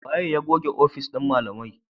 Waye ya goge ofis na malamai?